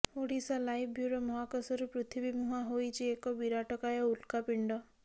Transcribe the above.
Odisha live bureau ମହାକାଶରୁ ପୃଥିବୀ ମୁହାଁ ହୋଇଛି ଏକ ବିରାଟକାୟ ଉଲକାପିଣ୍ଡ